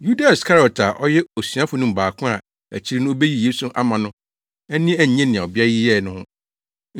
Yuda Iskariot a ɔyɛ asuafo no mu baako a akyiri no obeyi Yesu ama no ani annye nea ɔbea yi yɛe no ho,